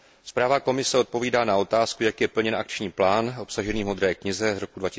Zpráva Komise odpovídá na otázku, jak je plněn akční plán obsažený v modré knize z roku